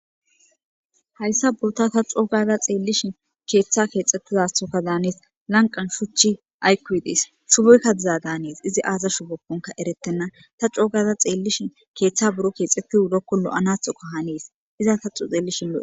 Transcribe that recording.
Hayssa boota ta coo gaada xeellishin keeththa keexxettizathokka daanes lanqan shuchchi aykoy dees shuboyka diza daanes izi aaza shubokonka erettenna ta coo gaada xeellishin keeththa buro keexeti wurikko loanathoka hanes iza ta xeellishin lo'es.